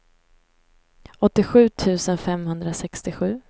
åttiosju tusen femhundrasextiosju